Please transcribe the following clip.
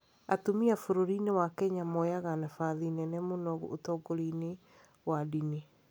Atumia bũrũri-inĩ wa Kenya moyaga nabathi nene mũno ũtongoria inĩ wa ndini.